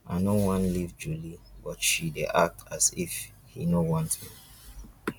i no wan leave julie but she dey act as if he no want me